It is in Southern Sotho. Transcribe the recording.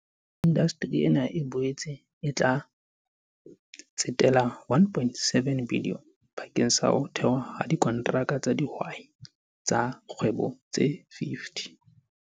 Indasteri ena e boetse e tla tsetela R1.7 bilione bakeng sa ho thehwa ha dikonteraka tsa dihwai tsa kgwebo tse 50.